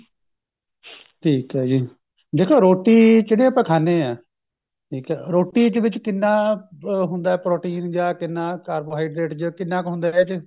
ਠੀਕ ਐ ਜੀ ਦੇਖੋ ਰੋਟੀ ਜਿਹੜੀ ਆਪਾਂ ਖਾਂਦੇ ਹਾਂ ਠੀਕ ਐ ਰੋਟੀ ਦੇ ਵਿੱਚ ਕਿੰਨਾ ਹੁੰਦਾ protein ਜਾ ਕਿੰਨਾ carbohydrate ਜਾ ਕਿੰਨਾ ਕ ਹੁੰਦਾ ਇਹਦੇ ਚ